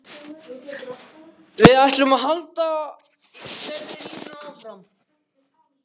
Við ætlum að halda þeirri línu áfram.